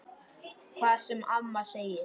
Hvað sem amma segir.